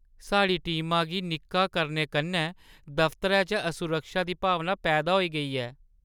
साढ़ी टीमा गी निक्का करने कन्नै दफतरै च असुरक्षा दी भावना पैदा होई गेई ऐ।